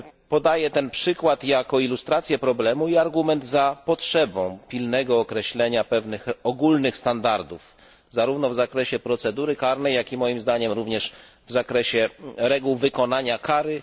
Podaję ten przykład jako ilustrację problemu i argument za potrzebą pilnego określenia pewnych ogólnych standardów zarówno w zakresie procedury karnej, jak i moim zdaniem również w zakresie reguł wykonania kary.